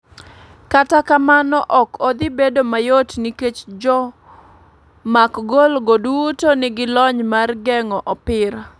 Kata kamano ok odhi bedo mayot nikech jomak gol go duto ni gi lony mar geng'o opira.